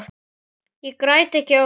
Ég græt ekki oft.